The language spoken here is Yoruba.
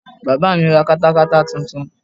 Bàbá mí ra katakata titun